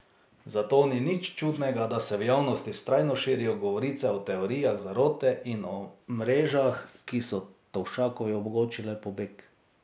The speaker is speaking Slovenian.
Zato ni nič čudnega, da se v javnosti vztrajno širijo govorice o teorijah zarote in o mrežah, ki so Tovšakovi omogočile pobeg.